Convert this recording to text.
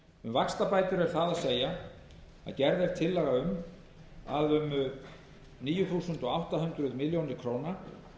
vaxtabætur er það að segja að gerð er tillaga um að um níu þúsund átta hundruð milljóna króna